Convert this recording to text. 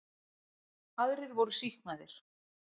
Aðrir voru sýknaðir